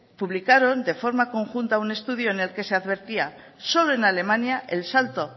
publicaron de forma conjunta un estudio en el que se advertía que solo en alemania el salto